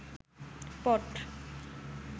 পট